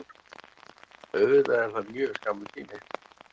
Auðvitað er það mjög skammur tími